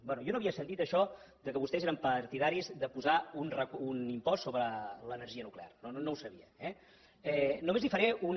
bé jo no havia sentit això que vostès eren partidaris de posar un impost sobre l’energia nuclear no no ho sabia eh només li faré una